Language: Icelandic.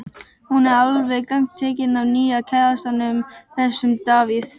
Hún er alveg gagntekin af nýja kærastanum, þessum Davíð.